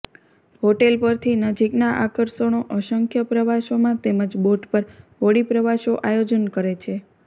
hotel પરથી નજીકના આકર્ષણો અસંખ્ય પ્રવાસોમાં તેમજ બોટ પર હોડી પ્રવાસો આયોજન કરે છે